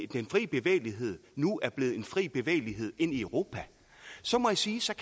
den frie bevægelighed nu er blevet en fri bevægelighed ind i europa så må jeg sige